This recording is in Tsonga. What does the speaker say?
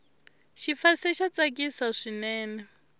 xifase xa tsakisa swinene